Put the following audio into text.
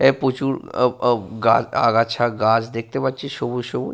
এ প্রচুর আহ আহ গাছ আগাছা গাছ দেখতে পাচ্ছি সবুজ সবুজ।